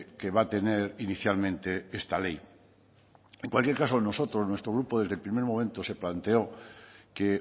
que va a tener inicialmente esta ley en cualquier caso nosotros nuestro grupo desde el primer momento se planteó que